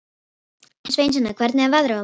Sveinsína, hvernig er veðrið á morgun?